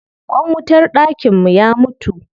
Ƙwan wutar dakin mu ya mutu.